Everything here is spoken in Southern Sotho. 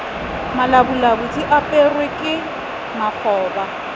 malabulabu di aperwe ke makgoba